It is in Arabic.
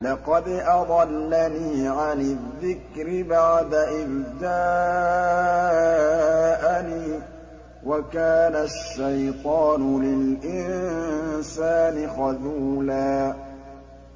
لَّقَدْ أَضَلَّنِي عَنِ الذِّكْرِ بَعْدَ إِذْ جَاءَنِي ۗ وَكَانَ الشَّيْطَانُ لِلْإِنسَانِ خَذُولًا